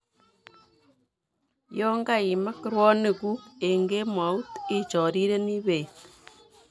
Yon kaimak ruonikuuk eng' kemout ichorirenii beet